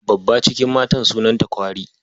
Babba cikin matan sunanta kwari.